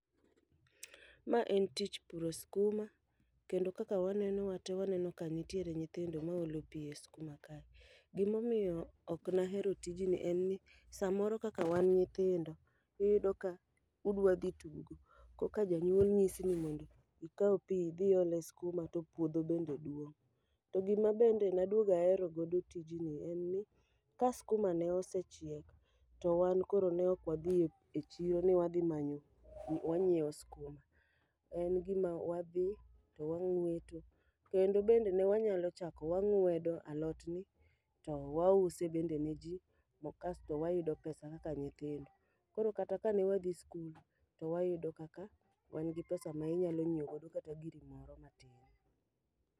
Ma en tich puro skuma, kendo kaka waneno wate waneno ka ntiere nyithindo ma olo pi e skuma kae. Gimomiyo ok nahero tijni en ni samoro kaka wan nyithindo, udwa dhi tugo. Korka janyuol nyisi ni mondo ikaw pi idhi iol e skuma to puodho bende duong'. To gima bende naduogo ahero godo tijni en ni ka skuma ne osechiek, to wan koro ne ok wadhi e chiro ni wadhi manyo ni wanyiewo skuma. En gima wadhi to wang'weto, kendo bende ne wanyalo chako wang'wedo alot ni to wa use bende ne ji to kasto wayudo pesa kaka nyithindo. Koro kata ka ne wadhi skul, to wayudo kaka wan gi pesa ma inyalo nyiewo go kata giri matin.